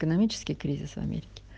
экономический кризис в америке